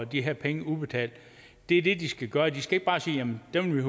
de her penge udbetalt det er det de skal gøre de skal ikke bare sige jamen dem